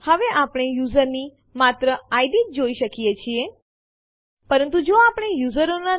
હવે આપણે આ ત્રણ ફાઈલોને ટેસ્ટડિર કહેવાતી ડિરેક્ટરીમાં ખસેડવા ઇચ્છીએ છીએ